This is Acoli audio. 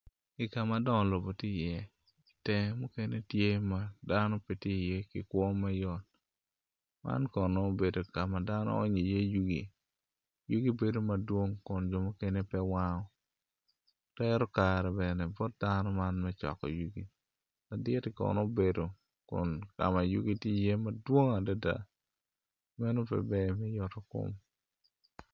I kam ma dongo lobo ti iye itenge mukene tye ma dano pe ti iye ki kwo ma yot man kono obedo ka ma dano onyo iye yugi, yugi bedo madwong kun jo mukene pe wango tero kare bene bot dano man me coko yugi laditi kono obedo kun ka ma yugi ti iye madwong adada meno pe ber me yot kom